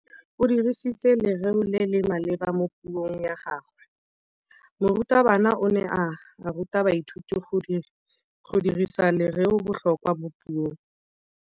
O dirisitse lerêo le le maleba mo puông ya gagwe. Morutabana o ne a ruta baithuti go dirisa lêrêôbotlhôkwa mo puong.